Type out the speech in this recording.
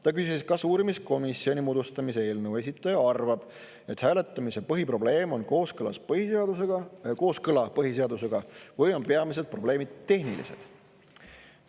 Ta küsis, kas uurimiskomisjoni moodustamise eelnõu esitaja arvab, et hääletamise põhiprobleem on kooskõla põhiseadusega või on peamised probleemid tehnilised.